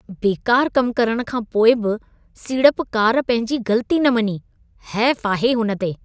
बेकारु कमु करण खां पोइ बि सीड़पकार पंहिंजी ग़लती न मञी। हेफ आहे हुन ते।